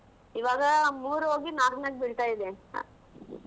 ಇವಾಗ ಮೂರು ಹೋಗಿ ನಾಲ್ಕಾಕ್ ಬೀಳ್ತಾ ಇದೆ.